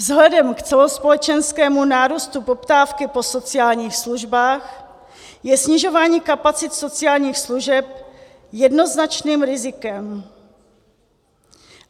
Vzhledem k celospolečenskému nárůstu poptávky po sociálních službách je snižování kapacit sociálních služeb jednoznačným rizikem.